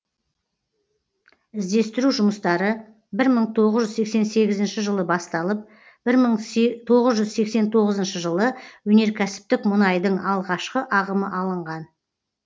іздестіру жұмыстары бір мың тоғыз жүз сексен сегізінші жылы басталып бір мың тоғыз жүз сексен тоғызыншы жылы өнеркәсіптік мұнайдың алғашқы ағымы алынған